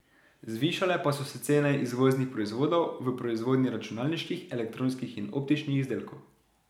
Zvišale pa so se cene izvoznih proizvodov v proizvodnji računalniških, elektronskih in optičnih izdelkov.